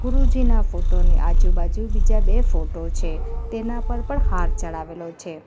ગુરુજીના photo ની આજુ-બાજુ બીજા બે ફોટો છે તેના પર પણ હાર ચડાવેલો છે.